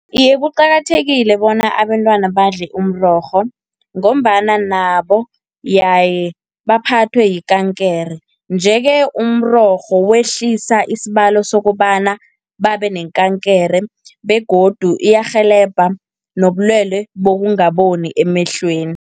Iye kuqakathekile bona abentwana badle umrorho, ngombana nabo yaye baphathwe yikankere. Nje-ke umrorho wekwehlisa isibalo sokobana babe nekankere, begodu iyarhelebha nobulwele bokungaboni emehlweni